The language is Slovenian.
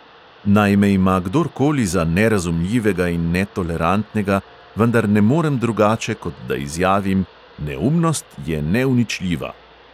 Naj me ima kdorkoli za nerazumljivega in netolerantnega, vendar ne morem drugače, kot da izjavim: "neumnost je neuničljiva!"